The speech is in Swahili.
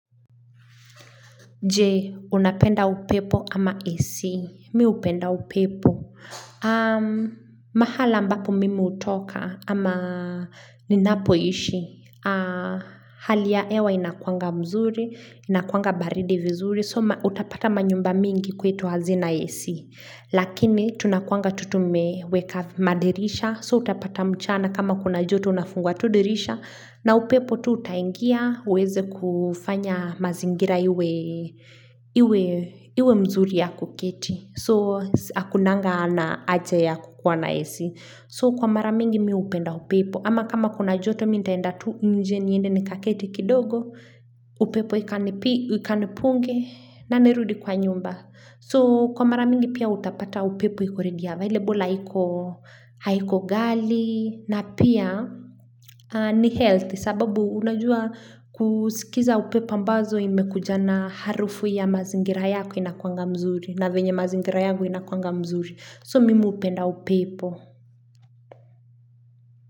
Je, unapenda upepo ama AC. Miupenda upepo. Mahala ambapo mimi utoka ama ninapo ishi. Hali ya ewa inakuanga mzuri, inakuanga baridi vizuri. So utapata manyumba mingi kwetu hazina AC. Lakini tunakuanga tutu meweka madirisha. So utapata mchana kama kuna joto unafungua tu dirisha. Na upepo tu utaingia, uweze kufanya mazingira iwe mzuri ya kuketi. So, hakunanga na aja ya kukuwa na AC So, kwa maramingi miupenda upepo. Ama kama kuna joto, minitaenda tu nje niende ni kaketi kidogo. Upepo ikanipunge na nirudi kwa nyumba. So, kwa maramingi pia utapata upepo iko hile bula haiko gali na pia ni health sababu unajua kusikiza upepo ambazo imekujana harufu ya mazingira yako inakuanga mzuri na venye mazingira yangu inakuanga mzuri so mimi upenda upepo.